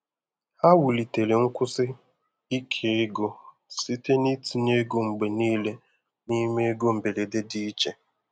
Ha wulitere nkwụsi ike ego site n’itinye ego mgbe niile n’ime ego mberede dị iche.